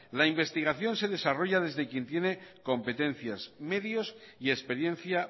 la investigación se desarrolla desde quien tiene competencias medios y experiencia